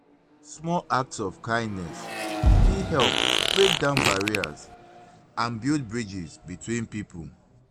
small acts of kindness fit help break down barriers and build bridges between people.